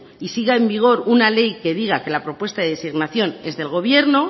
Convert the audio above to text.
y siga en vigor una ley que diga que la propuesta de designación es del gobierno